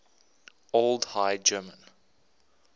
old high german